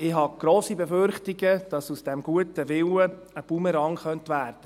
Ich habe grosse Befürchtungen, dass aus diesem guten Willen ein Bumerang werden könnte.